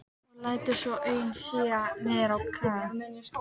Og lætur svo augun síga niður á kragann.